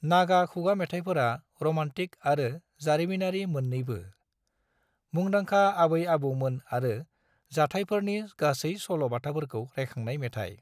नागा खुगा मेथाइफोरा रोमान्टिक आरो जारिमिनारि मोन्नैबो, मुंदांखा आबै आबौमोन आरो जाथायफोरनि गासै सल'बाथाफोरखौ रायखांनाय मेथाइ।